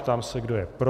Ptám se, kdo je pro.